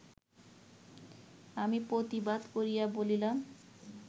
আমি প্রতিবাদ করিয়া বলিলাম